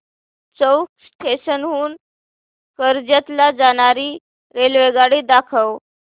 चौक station हून कर्जत ला जाणारी रेल्वेगाडी दाखव